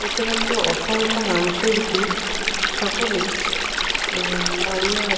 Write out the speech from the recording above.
এবং সামনে কিছু গাছপালা দেখা যাহ --